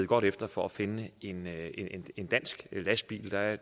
godt efter for at finde en en dansk lastbil der er